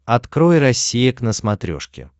открой россия к на смотрешке